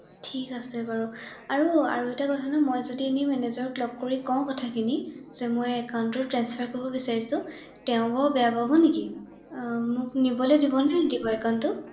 ঠিক আছে বাৰু ৷আৰু এটা কথা নহয় মই যদি এনে মেনেজাৰক লগ কৰি কওঁ কথাখিনি যে মই একান্টটো ট্ৰান্সফাৰ কৰিব বিছাৰিছো ৷ তেওঁ বাৰু বেয়া পাব নেকি৷মোক নিবলৈ দিব নে নিদিয়ে বাৰু একান্টটো